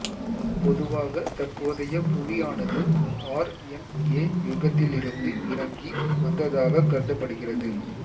பொதுவாக தற்போதய புவியானது ஆர் என் ஏ யுகத்திலிருந்து இறங்கி வந்ததாகக் கருதப்படுகிறது